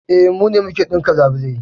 E, mu ne muke ɗinka labulai